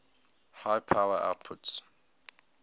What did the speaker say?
high power outputs